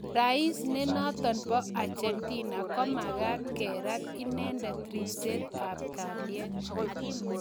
Rais nenotok po Argentina komakat kerat inendet ripset ap kaliet